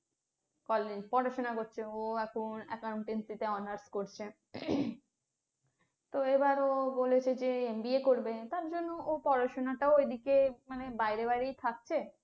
college এ পড়াশোনা করেছে ও এখন accountancy তে honours করছে তো এবার ও বলেছে যে MBA করবে তার জন্য ও পড়াশুনাটা এদিকে মানে বাইরে বাইরে থাকছে।